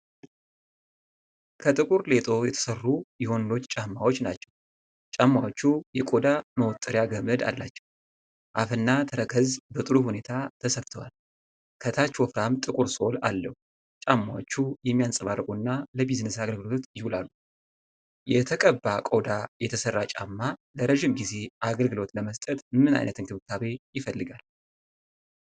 ከጥቁር ሌጦ የተሠሩ የወንዶች ጫማዎች ናቸው። ጫማዎቹ የቆዳ መወጠሪያ ገመድ አላቸው። አፍና ተረከዝ በጥሩ ሁኔታ ተሰፍተዋል። ከታች ወፍራም ጥቁር ሶል አለው። ጫማዎቹ የሚያብረቀርቁና ለቢዝነስ አገልግሎት ይውላሉ። የተቀባ ቆዳ የተሠራ ጫማ ለረጅም ጊዜ አገልግሎት ለመስጠት ምን ዓይነት እንክብካቤ ይፈልጋል?